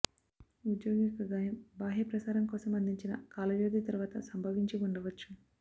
ఉద్యోగి యొక్క గాయం బాహ్య ప్రసారం కోసం అందించిన కాల వ్యవధి తర్వాత సంభవించి ఉండవచ్చు